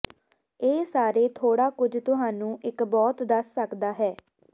ਇਹ ਸਾਰੇ ਥੋੜਾ ਕੁਝ ਤੁਹਾਨੂੰ ਇੱਕ ਬਹੁਤ ਦੱਸ ਸਕਦਾ ਹੈ